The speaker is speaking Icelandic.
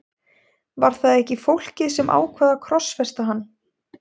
Var það ekki fólkið sem ákvað að krossfesta hann?